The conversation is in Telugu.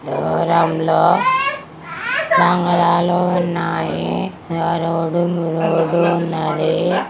దూరంలో బంగళాలు ఉన్నాయి. ఆ రోడ్డు మీ రోడ్డు ఉన్నాది.